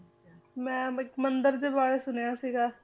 ਮੈਂ ਇੱਕ ਮੰਦਿਰ ਦੇ ਬਾਰੇ ਸੁਣਿਆ ਸੀਗਾ,